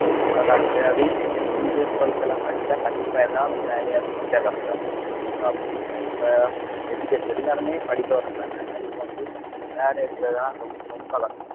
முந்தி உள்ள காலத்திலயாவது tenth twelfth எல்லாம் படிச்சா கண்டிப்பா ஏதாவது ஒரு வேலையாவது easy ஆ கிடைச்சுரும் இப்ப அப்படி இல்லை இப்ப education எல்லாருமே படிக்க வர்றதுனால இப்ப வந்து வேலை எடுக்கறதெல்லாம் ரொம்~ ரொம்ப கஷ்டம்